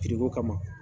kama